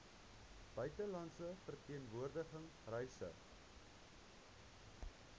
buitelandse verteenwoordiging reise